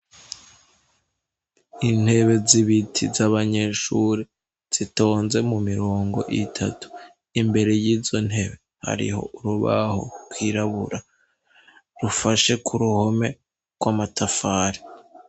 Intebe z'ibiti z'abanyeshuri zitonze mu mirongo itatu, imbere y'izo ntebe hariho urubaho rwirabura rufashe ku ruhome rw'amatafari.